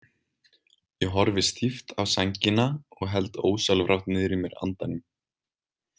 Ég horfi stíft á sængina og held ósjálfrátt niðri í mér andanum.